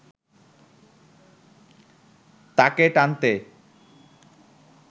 তাকে টানতে